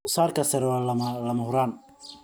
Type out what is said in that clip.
Wax soo saarka sare waa lama huraan.